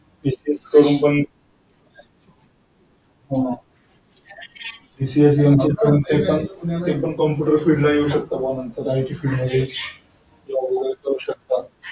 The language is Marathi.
हा ते पण computer field ला येऊ शकता.